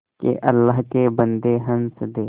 के अल्लाह के बन्दे हंस दे